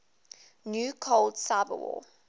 new cold cyberwar